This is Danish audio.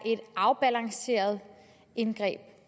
en